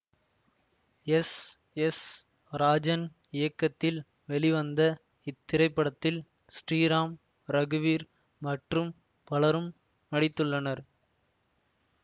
S S Rajan இயக்கத்தில் வெளிவந்த இத்திரைப்படத்தில் ஸ்ரீராம் ரகுவீர் மற்றும் பலரும் நடித்துள்ளனர்